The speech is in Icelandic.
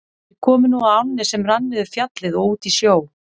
Þeir komu nú að ánni sem rann niður Fjallið og út í sjó.